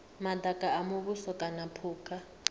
madaka a muvhuso kana phukha